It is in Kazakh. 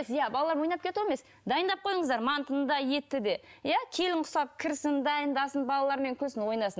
ия балалармен ойнап кету емес дайындап қойыңыздар мантыны да етті де ия келін ұқсап кірсін дайындасын балалармен күлсін ойнасын